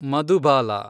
Madhubala